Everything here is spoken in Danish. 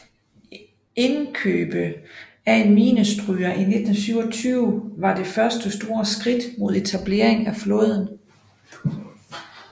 Indkøbet af en minestryger i 1927 var det første store skridt mod etableringen af flåden